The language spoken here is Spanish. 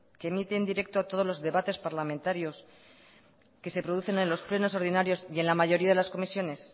que emite en directo todos los debates parlamentarios que se producen en los plenos ordinarios y en la mayoría de las comisiones